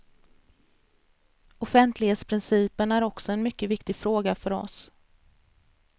Offentlighetsprincipen är också en mycket viktig fråga för oss.